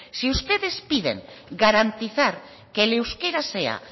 si ustedes piden garantizar que el euskera sea